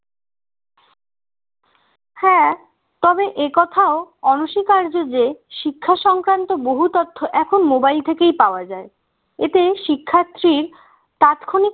হ্যাঁ তবে একথাও অনস্বীকার্য যে শিক্ষা সংক্রান্ত বহু তথ্য এখন mobile থেকেই পাওয়া যায় এতে শিক্ষার্থীর তাৎক্ষণিক